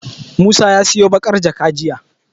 Musa ya siyo baƙar jaka jiya.